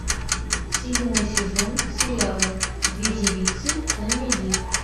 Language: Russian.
седьмой сезон сериала две девицы на мели